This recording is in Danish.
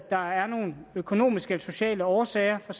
der er nogle økonomiske eller sociale årsager for